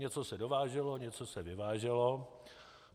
Něco se dováželo, něco se vyváželo.